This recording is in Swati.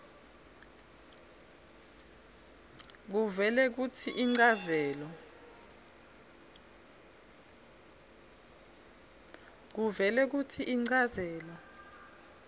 kuvele kutsi inchazelo